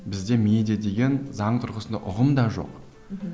бізде медиа деген заң тұрғысында ұғым да жоқ мхм